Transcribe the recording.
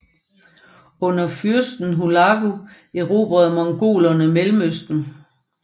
Under fyrsten Hulagu erobrede mongolerne Mellemøsten